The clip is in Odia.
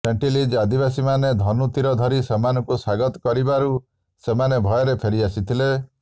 ସେଣ୍ଟିଲିଜ୍ ଆଦିବାସୀମାନେ ଧନୁ ତୀର ଧରି ସେମାନଙ୍କୁ ସ୍ୱାଗତ କରିବାରୁ ସେମାନେ ଭୟରେ ଫେରିଆସିଥିଲେ